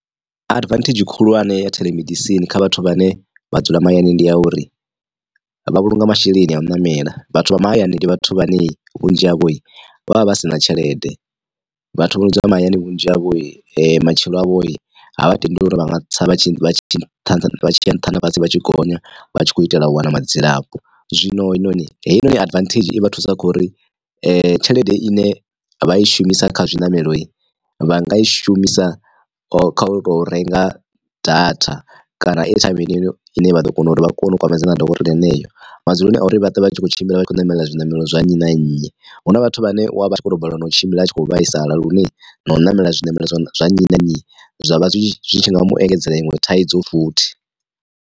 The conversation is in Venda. Advantage khulwane ya theḽemedisini kha vhathu vhane vha dzula mahayani ndi ya uri vha vhulunga masheleni a u ṋamela. Vhathu vha mahayani ndi vhathu vhane vhunzhi havho vha vha vha sina tshelede vhathu vho no dzula mahayani vhunzhi havho matshilo avho ha vha tendeli uri vha nga tsa vha tshi vha tshi vha tshiya nṱha na fhasi vha tshi gonya vha tshi khou itela u wana madzilafho. Zwino heinoni heinoni advantage i vha thusa kho uri tshelede ine vha i shumisa kha zwiṋamelo vha nga i shumisa kha u to renga data kana ethaimi heneyo ine vha ḓo kona uri vha kone u kwamana na dokotela heneyo madzuloni a uri vha ṱwe vha tshi kho tshimbila vha tshi khou ṋamela zwiṋamelo zwa nnyi na nnyi. Hu na vhathu vhane wa vha tshi khou tou balelwa na u tshimbila a tshi khou vhaisala lune na u ṋamela zwiṋamelo zwa nnyi na nnyi zwa vha zwi zwi tshi nga mu engedzela iṅwe thaidzo futhi.